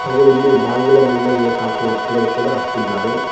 ಹಾಗೂ ಇಲ್ಲಿ ಬಾಗಿಲು ಮುಂದೆ ನೇತಾಕುವ ವಸ್ತುಗಳು ಕೂಡ ಇದ್ದಾವೆ.